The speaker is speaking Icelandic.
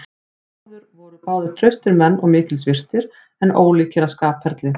Þeir bræður voru báðir traustir menn og mikils virtir, en ólíkir að skapferli.